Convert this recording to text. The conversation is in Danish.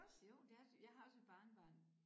Jo det er det jeg har også et barnebarn